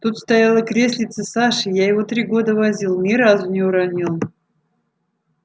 тут стояло креслице саши я его три года возил ни разу не уронил